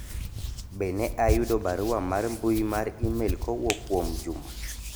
be ne ayudo barua mar mbui mar email kowuok kuom juma